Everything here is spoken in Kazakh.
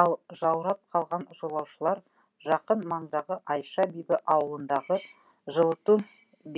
ал жаурап қалған жолаушылар жақын маңдағы айша бибі ауылындағы жылыту